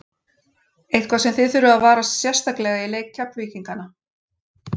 Eitthvað sem að þið þurfið að varast sérstaklega í leik Keflvíkingana?